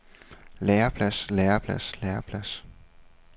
læreplads læreplads læreplads